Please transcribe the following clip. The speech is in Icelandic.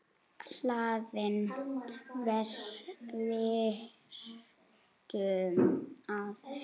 Hlaðinn vistum er hann æ.